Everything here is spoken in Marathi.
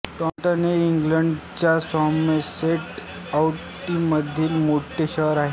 टॉंटन हे इंग्लंडच्या सॉमरसेट काउंटीमधील मोठे शहर आहे